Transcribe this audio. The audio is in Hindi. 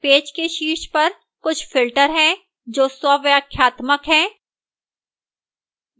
पेज के शीर्ष पर कुछ filters हैं जो स्वव्याख्यात्मक हैं